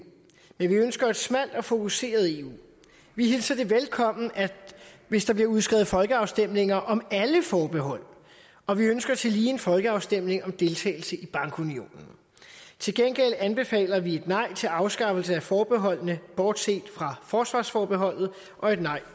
men vi ønsker et smalt og fokuseret eu vi hilser det velkommen hvis der bliver udskrevet folkeafstemninger om alle forbehold og vi ønsker tillige en folkeafstemning om deltagelse i bankunionen til gengæld anbefaler vi et nej til afskaffelse af forbeholdene bortset fra forsvarsforbeholdet og et nej